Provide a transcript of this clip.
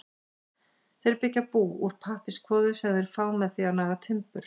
Þeir byggja bú úr pappírskvoðu sem þeir fá með því að naga timbur.